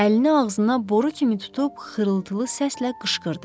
Əlini ağzına boru kimi tutub xırıltılı səslə qışqırdı.